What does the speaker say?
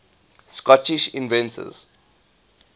scottish inventors